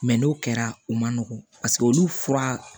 Mɛ n'o kɛra u man nɔgɔn paseke olu fura